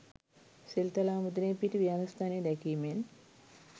සෙල්තලාව මුදුනේ පිහිටි විහාරස්ථානය දැකීමෙන්